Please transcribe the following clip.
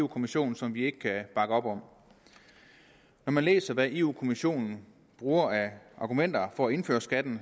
kommissionen som vi ikke kan bakke op når man læser hvad europa kommissionen bruger af argumenter for at indføre skatten